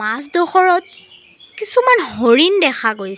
মাজদখৰত কিছুমান হৰিণ দেখা গৈছে।